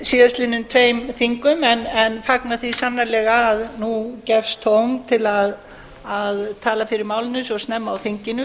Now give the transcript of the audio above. á síðustu tveimur þingum en fagna því sannarlega að nú gefst tóm til að tala fyrir málinu svo snemma á þinginu